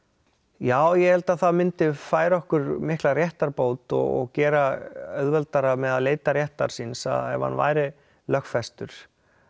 já ég held að það myndi færa okkur mikla réttarbót og gera auðveldara með að leita réttar síns ef hann væri lögfestur